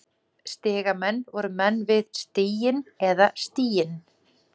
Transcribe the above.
Stigamenn voru menn við stiginn eða stíginn.